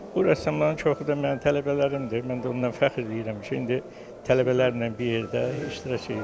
Bu rəssamların çoxu da mənim tələbələrimdir, mən də ondan fəxr eləyirəm ki, indi tələbələrlə bir yerdə iştirak eləyirəm.